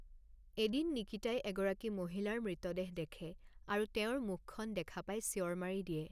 এদিন নিকিতাই এগৰাকী মহিলাৰ মৃতদেহ দেখে আৰু তেওঁৰ মুখখন দেখা পাই চিঞৰ মাৰি দিয়ে।